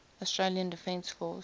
australian defence force